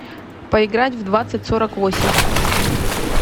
поиграть в двадцать сорок восемь